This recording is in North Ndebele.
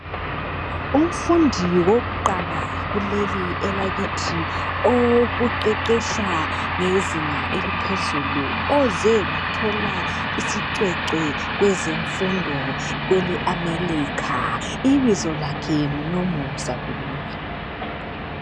Umfundi wokuqala kuleli elakithi owokuqeqetsha ngezinga eliphezulu oze wathola isicwecwe kwezemfundo kwele Amelikha ibizo lakhe ngu nomusa Dube